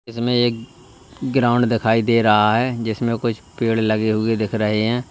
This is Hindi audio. इसमें एक ग्राउंड दिखाई दे रहा है जिसमें कुछ पेड़ लगे हुए दिख रहे हैं।